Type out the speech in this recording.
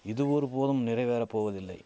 இது ஒருபோதும் நிறைவேற போவதில்லை